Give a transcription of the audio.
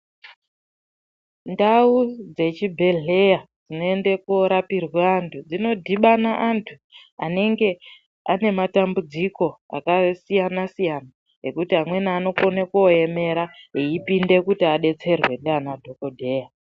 Ndau dzechibhendleya dzinoenda koorapirwa antu dzinodhibana antu anenge ane matambudziko akasiyana siyana. Ekuti amweni anokona koomera eipinde kodetserwa ndiana dhokodheya.